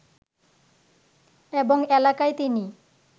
এবং এলাকায় তিনি